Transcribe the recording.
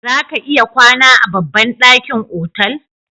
Za ka iya kwana a babban ɗakin otal?